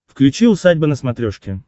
включи усадьба на смотрешке